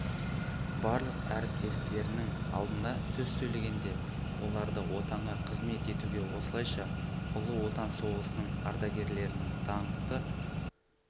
барлық әріптестерінің алдында сөз сөйлегенде оларды отанға қызмет етуге осылайша ұлы отан соғысының ардагерлерінің даңқты